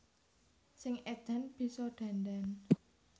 Sing edan bisa dandan